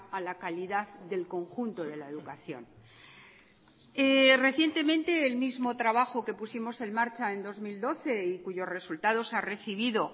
a la calidad del conjunto de la educación recientemente el mismo trabajo que pusimos en marcha en dos mil doce y cuyos resultados ha recibido